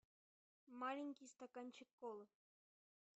маленький стаканчик колы